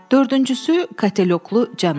Dördüncüsü, katelyoklu cənab.